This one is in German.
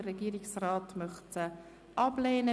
Der Regierungsrat möchte sie ablehnen.